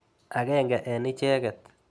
Akenge eng' icheket.